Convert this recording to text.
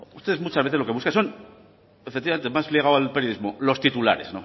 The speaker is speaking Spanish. ustedes muchas veces lo que buscan son efectivamente más ligado al periodismo los titulares